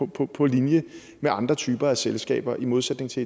på på linje med andre typer af selskaber i modsætning til